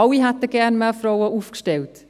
Alle hätten gerne mehr Frauen aufgestellt.